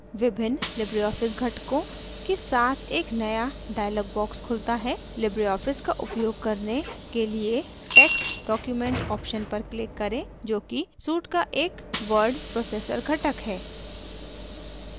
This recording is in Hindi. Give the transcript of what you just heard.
विभिन्न लिबरे ऑफिस घटकों के साथ एक नया डाइलॉग बॉक्स खुलता हैलिबरे ऑफिस का उपयोग करने के लिए text document ऑप्शन पर क्लिक करें जोकि सूट का एक वर्ड प्रोसेसर घटक है